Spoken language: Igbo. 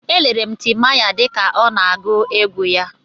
Elere m Timaya dịka ọ na-agụ egwu ya.